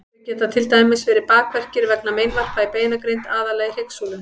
Þau geta til dæmis verið bakverkir vegna meinvarpa í beinagrind, aðallega í hryggsúlu.